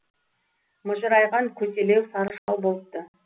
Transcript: мыжырайған көселеу сары шал болыпты